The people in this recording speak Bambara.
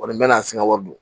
Kɔni bɛ na se n ka wari don